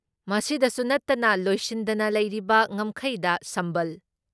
ꯃꯁꯤꯗꯁꯨ ꯅꯠꯇꯅ ꯂꯣꯏꯁꯤꯟꯗꯅ ꯂꯩꯔꯤꯕ ꯉꯝꯈꯩꯗ ꯁꯝꯕꯜ